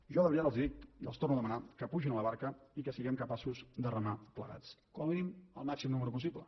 jo de veritat els ho dic i els ho torno a demanar que pugin a la barca i que siguem capaços de remar plegats com a mínim el màxim nombre possible